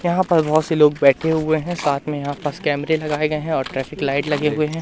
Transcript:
यहां पर बहोत से लोग बैठे हुए है साथ में यहां पास कैमरे लगाए गए हैं और ट्रैफिक लाइट लगे हुए है।